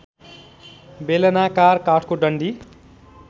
बेलनाकार काठको डन्डी